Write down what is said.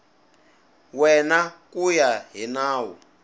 wena ku ya hi nawu